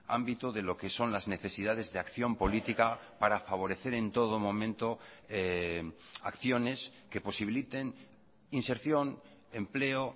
ámbito de lo que son las necesidades de acción política para favorecer en todo momento acciones que posibiliten inserción empleo